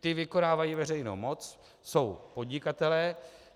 Ti vykonávají veřejnou moc, jsou podnikatelé.